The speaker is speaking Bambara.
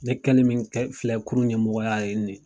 Ne kɛli min filɛ kɛ kulu ɲɛmɔgɔya nin ye